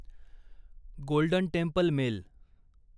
golden Temple mail